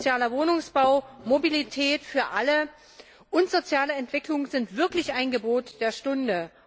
Sozialer Wohnungsbau, Mobilität für alle und soziale Entwicklung sind wirklich ein Gebot der Stunde.